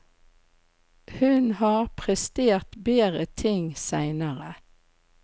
Hun har prestert bedre ting seinere.